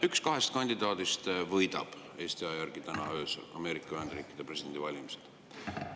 Üks kahest kandidaadist võidab Eesti aja järgi täna öösel Ameerika Ühendriikide presidendivalimised.